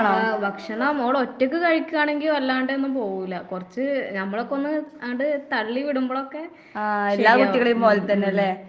ആഹ് ഭക്ഷണം മോള് ഒറ്റയ്ക്ക് കഴിക്കാണെങ്കി വല്ലാണ്ടൊന്നും പോവൂല. കൊറച്ച് ഞമ്മളൊക്കെ ഒന്ന് അങ്ങട് തള്ളി വിടുമ്പൊഴൊക്കെ ആഹ് ശരിയാവും. ഉം, ഉം.